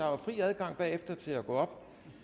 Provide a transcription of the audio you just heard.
jo fri adgang bagefter til at gå op